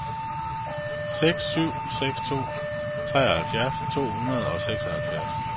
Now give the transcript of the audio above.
seks syv seks to treoghalvfjerds to hundrede og seksoghalvfjerds